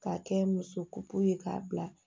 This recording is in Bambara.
K'a kɛ muso kuku ye k'a bila